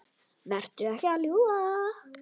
Vertu ekki að ljúga!